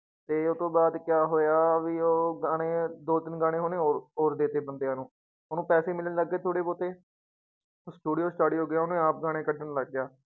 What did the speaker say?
ਤੇ ਉਹ ਤੋਂ ਬਾਅਦ ਕਿਆ ਹੋਇਆ ਵੀ ਉਹ ਗਾਣੇ ਦੋ ਤਿੰਨ ਗਾਣੇ ਉਹਨੇ ਹੋਰ ਹੋਰ ਦੇ ਦਿੱਤੇ ਬੰਦਿਆਂ ਨੂੰ, ਉਹਨੂੰ ਪੈਸੇ ਮਿਲਣ ਲੱਗ ਗਏ ਥੋੜ੍ਹੇ ਬਹੁਤੇ ਉਹ studio ਸਟਾਡੀਓ ਗਿਆ ਉਹਨੇ ਆਪ ਗਾਣੇ ਕੱਢਣ ਲੱਗ ਗਿਆ।